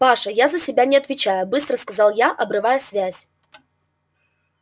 паша я за себя не отвечаю быстро сказал я обрывая связь